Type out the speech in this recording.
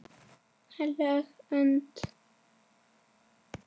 HEILÖG ÖND